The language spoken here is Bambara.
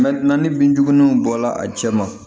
Mɛ na ni bin jugumanw bɔla a cɛ ma